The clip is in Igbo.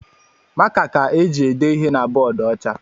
Maka ka e jị ede ihe na bọọdu ọcha.